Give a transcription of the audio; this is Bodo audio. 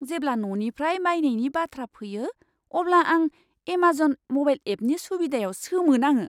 जेब्ला न'निफ्राय बायनायनि बाथ्रा फैयो, अब्ला आं एमाजन म'बाइल एपनि सुबिदायाव सोमोनाङो!